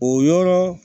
O yɔrɔ